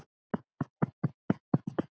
Þannig var Helgi.